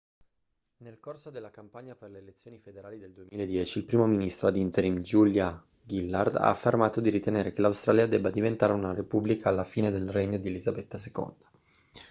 nel corso della campagna per le elezioni federali del 2010 il primo ministro ad interim julia gillard ha affermato di ritenere che l'australia debba diventare una repubblica alla fine del regno di elisabetta ii